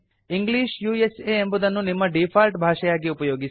English ಎಂಬುದನ್ನು ನಿಮ್ಮ default ಭಾಷೆಯಾಗಿ ಉಪಯೋಗಿಸಿ